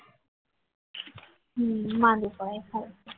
માદુ પડાઈ ખાલી ખોટું